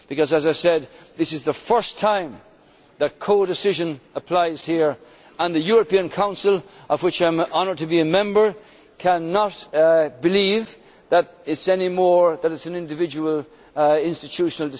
Parliament. As I said, this is the first time that codecision applies here, and the European Council of which I am honoured to be a Member cannot believe that it takes decisions as an individual